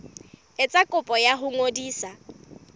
etsa kopo ya ho ngodisa